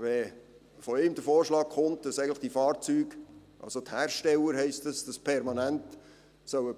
Wenn von ihm der Vorschlag kommt, die Fahrzeughersteller sollen die Fahrzeuge permanent